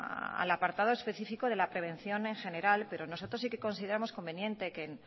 al apartado específico de la prevención en general pero nosotros sí que consideramos conveniente que